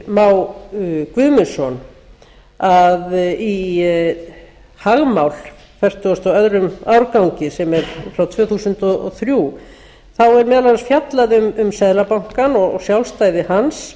má guðmundsson í fagmál fertugasta og öðrum árgangi sem er frá tvö þúsund og þrjú er meðal annars fjallað um seðlabankann og sjálfstæði hans